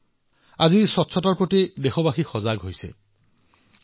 আজি দেশবাসীৰ পৰিষ্কাৰ পৰিচ্ছন্নতাৰ প্ৰতি গুৰুত্ব আৰু সতৰ্কতা বৃদ্ধি পাইছে